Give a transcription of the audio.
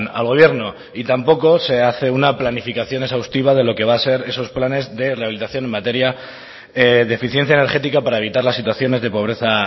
al gobierno y tampoco se hace una planificación exhaustiva de lo que va a ser esos planes de rehabilitación en materia de eficiencia energética para evitar las situaciones de pobreza